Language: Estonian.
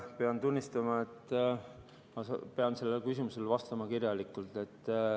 Pean tunnistama, et ma pean sellele küsimusele vastama kirjalikult.